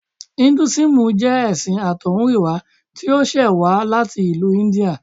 Induísímù jẹ́ ẹṣin àtọ̀húnrìnwá tí ó ṣẹ̀ wá láti ìlú India